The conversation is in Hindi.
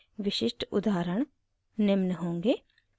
विशिष्ट उदाहरण निम्न होंगे: